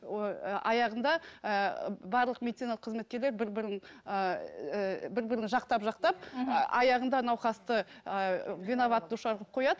ой ы аяғында ыыы барлық медициналық кызметкерлер бір бірін ыыы бір бірін жақтап жақтап мхм аяғында науқасты ыыы виноват душар қылып қояды